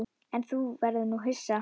En nú verður þú hissa!